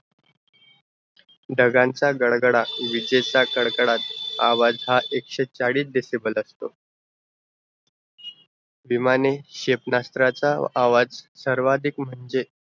ढगांचा गडगडाट विजेचा कडकडाट आवाज़ हां एकशे चाळीस decible असतो विमाने शेपेनास्तराचा आवाज़ सर्व्हादिक म्हणजे